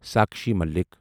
Sakshi Malik